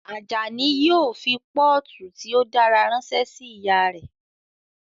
Ajani yóò fi pọ́ọ̀tù tí ó dára ránṣẹ́ sí ìyá rẹ̀